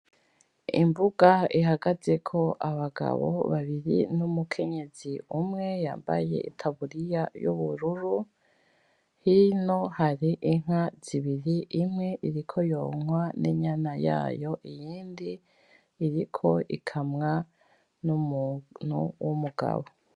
Imbuga ihagazeko abagabo babiri n'umukenyezi umwe yambaye itaburiya y'ubururu. Hino hari inka zibiri. Imwe iriko yonkwa n'inyana yayo, iyindi iriko ikamwa n'umuntu w'umugabo.